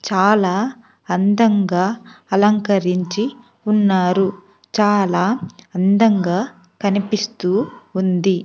చాలా అందంగా అలంకరించి ఉన్నారు చాలా అందంగా కనిపిస్తూ ఉంది.